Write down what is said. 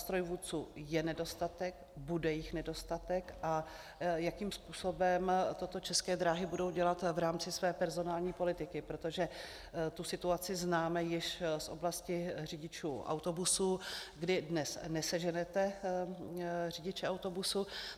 Strojvůdců je nedostatek, bude jich nedostatek, a jakým způsobem toto České dráhy budou dělat v rámci své personální politiky, protože tu situaci známe již z oblasti řidičů autobusů, kdy dnes neseženete řidiče autobusu.